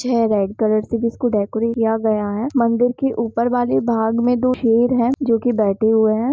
हे red colour से जिसको decorate किया गया है मंदिर के ऊपर वाली भाग में दो शेर है जोकि बैठे हुए है।